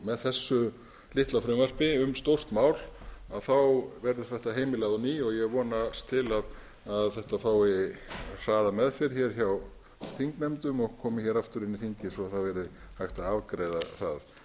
með þessu litla frumvarpi um stórt mál verður þetta heimilað á ný og ég vonast til að þetta fái hraða meðferð hjá þingnefndum og komi aftur inn í þingið svo hægt verði að afgreiða það